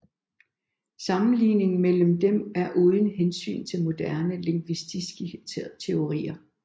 Sammenligningen mellem dem er uden hensyn til moderne lingvistiske teorier